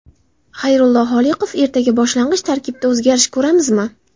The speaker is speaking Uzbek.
Xayrullo Holiqov: Ertaga boshlang‘ich tarkibda o‘zgarish ko‘ramizmi?